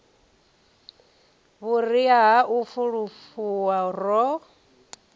vhuria ha u fulufhuwa ro